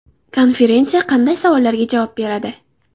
Konferensiya qanday savollarga javob beradi?